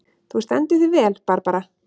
Þú stendur þig vel, Barbara!